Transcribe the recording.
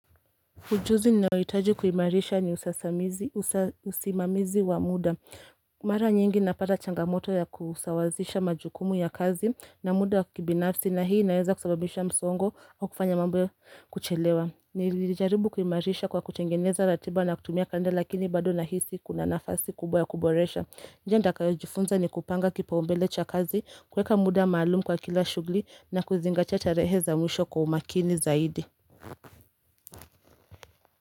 Ujuzi ninaohitaji kuimarisha ni usasamizi, usa usimamizi wa muda. Mara nyingi napata changamoto ya kusawasisha majukumu ya kazi na muda wa kibinafsi na hii inaeza kusababisha msongo au kufanya mambo kuchelewa. Nilijaribu kuimarisha kwa kutengeneza ratiba na kutumia kande lakini bado nahisi kuna nafasi kubwa ya kuboresha. Njia nitakayojifunza ni kupanga kipaumbele cha kazi kuweka muda maalumu kwa kila shughuli na kuzingatia tarehe za mwisho kwa umakini zaidi.